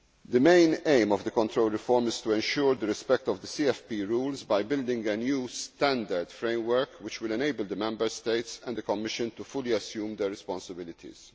The main aim of the control reform is to ensure the respect of the CFP rules by building a new standard framework which will enable the Member States and the Commission to fully assume their responsibilities.